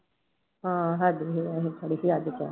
ਹਾਂ ਸਾਡੀ ਸੀ ਅਸੀਂ ਕਰੀ ਸੀ ਅੱਜ ਚਾਹ।